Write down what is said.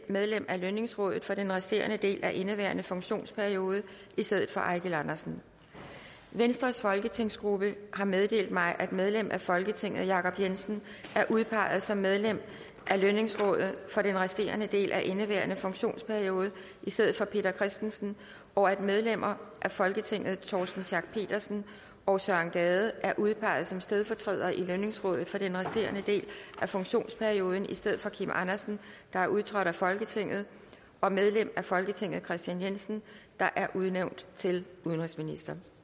medlem af lønningsrådet for den resterende del af indeværende funktionsperiode i stedet for eigil andersen venstres folketingsgruppe har meddelt mig at medlem af folketinget jacob jensen er udpeget som medlem af lønningsrådet for den resterende del af indeværende funktionsperiode i stedet for peter christensen og at medlemmer af folketinget torsten schack pedersen og søren gade er udpeget som stedfortrædere i lønningsrådet for den resterende del af funktionsperioden i stedet for kim andersen der er udtrådt af folketinget og medlem af folketinget kristian jensen der er udnævnt til udenrigsminister